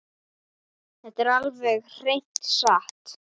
Þetta er alveg hreina satt!